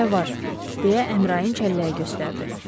Orda hələ var deyə Əmrain kəlləyi göstərdi.